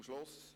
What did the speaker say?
Zum Schluss